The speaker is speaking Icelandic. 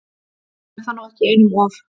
Er það nú ekki einum of?